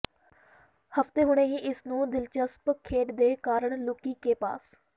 ਹਫਤੇ ਹੁਣੇ ਹੀ ਇਸ ਨੂੰ ਦਿਲਚਸਪ ਖੇਡ ਦੇ ਕਾਰਣ ਲੁਕੀ ਕੇ ਪਾਸ